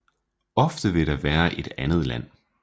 Ofte vil det være et andet land